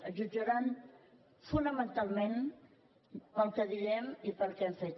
ens jutjaran fonamentalment pel que diem i pel que hem fet